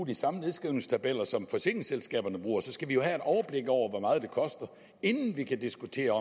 de samme nedskrivningstabeller som forsikringsselskaberne bruger skal vi jo have et overblik over hvor meget det koster inden vi kan diskutere